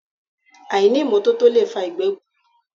Àìní ìmọ́tótó lè fa ìgbẹ́ gbùrùùrù